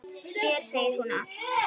Mér segir hún allt